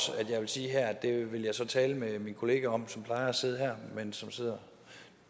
her vil sige at det vil jeg tale med min kollega om som plejer at sidde her men som sidder